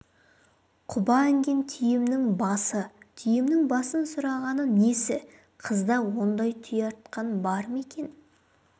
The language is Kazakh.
құба інген түйемнің басы түйемнің басын сұрағаны несі қызда ондай түйе артқан бар ма екен